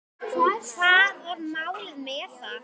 Hvað var málið með það?